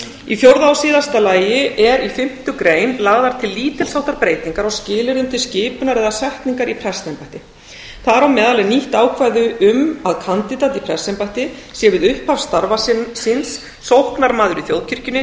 í fjórða og síðasta lagi eru í fimmtu grein lagðar til lítils háttar breytingar á skilyrðum til skipunar eða setningar í fast embætti þar á meðal er nýtt ákvæði um að kandídat í prestsembætti sé við upphaf starfa síns sóknarmaður í þjóðkirkjunni